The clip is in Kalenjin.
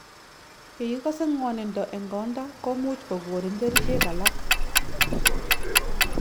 Ye ikase ngw�onindo eng konda ,komuch kogonin kerchek alak .